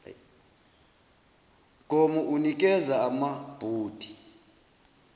mgomo unikeza amabhodi